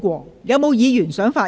是否有議員想發言？